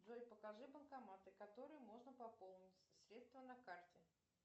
джой покажи банкоматы которые можно пополнить средства на карте